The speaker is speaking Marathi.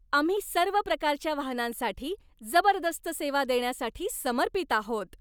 आम्ही सर्व प्रकारच्या वाहनांसाठी जबरदस्त सेवा देण्यासाठी समर्पित आहोत.